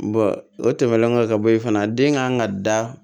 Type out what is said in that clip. o tɛmɛnen kɔfɛ ka bɔ ye fana den kan ka da